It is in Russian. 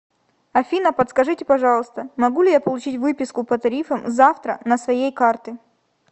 афина подскажите пожалуйста могу ли я получить выписку по тарифам завтра на своей карты